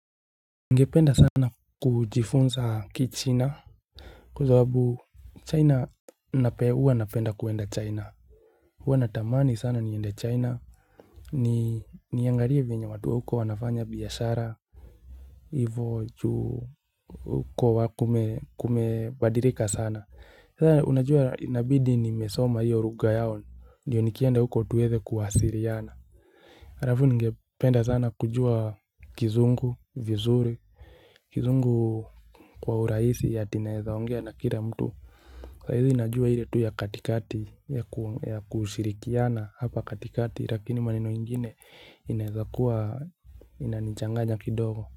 Ningependa sana kujifunza kichina Kwa sababu China huwa napenda kueenda China Uwa natamani sana niende China ni niangalie venye watuwa huko wanafanya biashara hivo juu huko wakume kumebadilika sana sana unajua nabidi nimesoma hiyo rugha yao ndio nikienda huko tuwede kuwasiriana alafu ningepependa sana kujua kizungu vizuri kizungu Kwa urahisi ya ati naezaongea nakira mtu Kwa hivo najua ile tu ya katikati ya kushirikiana hapa katikati Rakini maneno ingine inaweza inanichanganya kidogo.